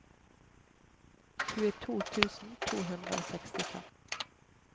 tjueto tusen to hundre og sekstifem